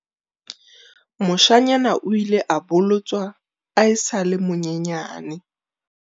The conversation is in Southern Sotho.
Moshanyana o ile a bolotswa a sa le monyenyane.